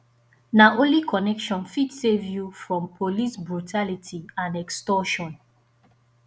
na only connection fit save you from police brutality and extortion